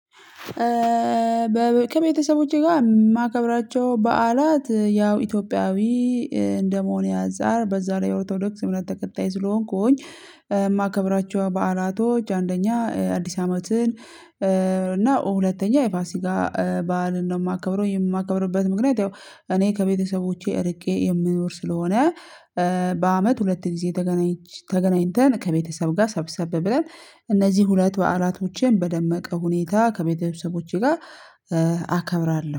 ከቤተሰቦቼ ጋር የማከብራቸው በዓላት ያው ኢትዮጵያዊ እንደመሆኔ አንፃር በዛ ላይ ኦርቶዶክስ እምነት ተከታይ ስለሆንኩኝ። የማከብራቸው በዓላቶች አንደኛ አዲስ አመትን እና ሁለተኛ የፋሲካ በዓልን ነው የማከብረው የማከብርበት ምክንያት ያው እኔ ከቤተሰቦቼ እርቄ የምኖር ስለሆነ በአመት ሁለት ጊዜ ተገናኝተን ከቤተሰብ ጋር ሰብሰብ ብለን እነዚህ ሁለት በዓላቶቼን በደመቀ ሁኔታ ከቤተሰቦቼ ጋር አከብራለሁ